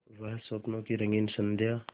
वह स्वप्नों की रंगीन संध्या